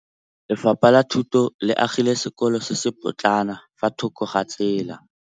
Lefapha la Thuto le agile sekôlô se se pôtlana fa thoko ga tsela.